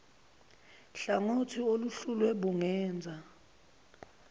hlangothi oluhluliwe bungenza